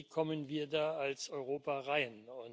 Wie kommen wir da als Europa hin?